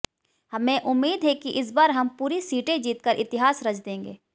हमें उम्मीद है कि इस बार हम पूरी सीटें जीतकर इतिहास रच देंगे